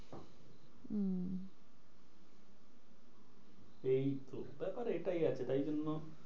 এইতো ব্যাপার এইটাই আছে। তাই জন্য